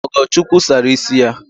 Ogochukwu sara ịsị ya